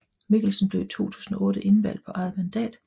Mikkelsen blev i 2008 indvalgt på eget mandat